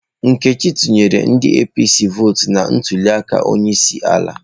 Nkechi tụnyere ndi APC votụ na ntuliaka onyeisiala.